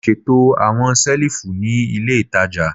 Mo ṣeto awọn selifu ni ile itaja